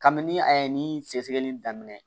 Kabini a ye ni sɛgɛsɛgɛli daminɛ